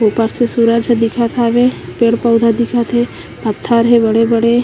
ऊपर से सूरज ह दिखत हावे पेड़-पौधा दिखत हे पत्थर हे बड़े-बड़े--